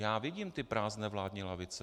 Já vidím ty prázdné vládní lavice.